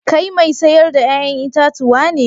Kai mai sayar da 'ya'yan itatuwa ne?